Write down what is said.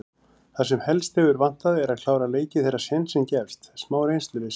Það sem helst hefur vantað er að klára leiki þegar sénsinn gefst. smá reynsluleysi.